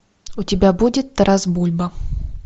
у тебя будет тарас бульба